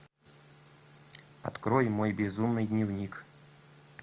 открой мой безумный дневник